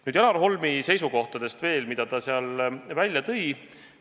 Nüüd veel Janar Holmi seisukohtadest, mis ta seal välja tõi.